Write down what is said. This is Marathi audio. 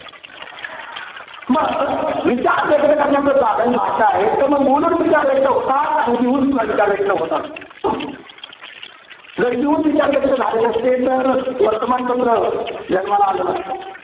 मग विचार व्यक्त करण्याचं साधन भाषा आहे. तर मग बोलून विचार व्यक्त होतात. आणि लिहूनसुद्धा विचार व्यक्त होतात. जर लिहून विचार व्यक्त झाले नसते तर, वर्तमानपत्र जन्माला आलं नसतं.